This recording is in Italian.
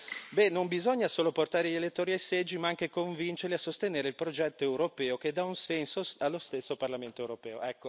Dite che non bisogna solo portare gli elettori ai seggi ma anche convincerli a sostenere il progetto europeo, che dà un senso allo stesso Parlamento europeo.